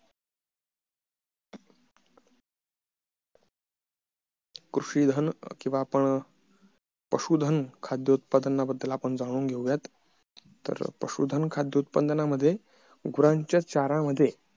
कृषी धन किंवा आपण पशु धन खाद्य उतपादनाबद्दल आपण जाणून घेऊयात तर पशु धन खाद्य उत्पादनामदे गुरांच्या चाऱ्यामध्ये